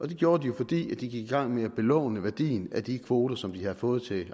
det gjorde de jo fordi de gik i gang med at belåne værdien af de kvoter som de havde fået til